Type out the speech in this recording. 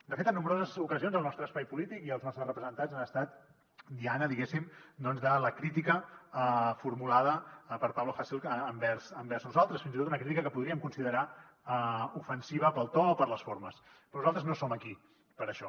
de fet en nombroses ocasions el nostre espai polític i els nostres representants han estat diana diguéssim de la crítica formulada per pablo hasél envers nosaltres fins i tot una crítica que podríem considerar ofensiva pel to o per les formes però nosaltres no som aquí per això